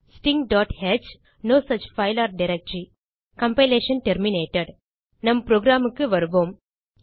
stingh no such file or directory compilation terminated நம் programக்கு வருவோம்